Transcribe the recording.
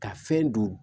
Ka fɛn don